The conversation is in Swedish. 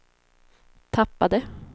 tappade